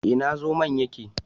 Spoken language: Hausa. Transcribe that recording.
Ina zomon yake?